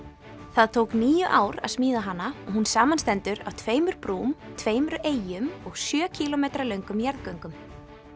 það tók níu ár að smíða hana og hún samanstendur af tveimur brúm tveimur eyjum og sjö kílómetra löngum jarðgöngum